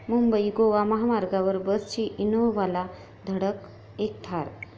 मुंबई गोवा महामार्गावर बसची इनोव्हाला धडक, एक ठार